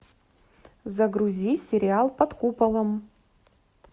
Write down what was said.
загрузи сериал под куполом